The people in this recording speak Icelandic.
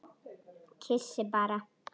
Kyssi bara.